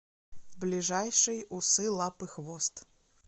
ближайший усы лапы хвост